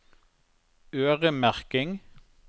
øremerking